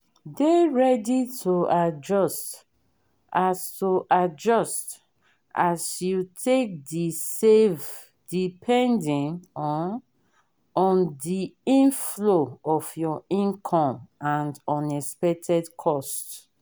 dey ready to adjust as to adjust as you take de save depending um on the inflow of your income and unexpected costs